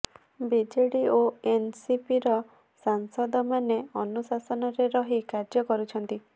BJD ଓ ଏନସିପିର ସାଂସଦ ମାନେ ଅନୁଶାସନରେ ରହି କାର୍ଯ୍ୟ କରୁଛନ୍ତି